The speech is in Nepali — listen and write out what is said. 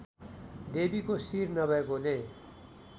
देवीको शिर नभएकोले